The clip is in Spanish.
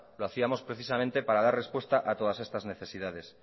lo hacíamos precisamente para dar respuesta a todas estas necesidades